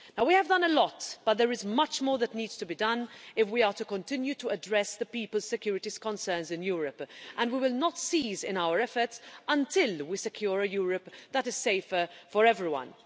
We have done a lot, but there is much more that needs to be done if we are to continue to address the people's security concerns in Europe, and we will not cease in our efforts until we secure a Europe that is safer for everyone.